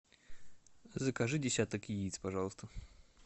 закажи десяток яиц пожалуйста